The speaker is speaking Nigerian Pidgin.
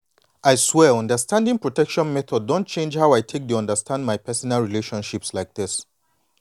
i swear understanding protection methods don change how i take dey maintain my personal relationships like this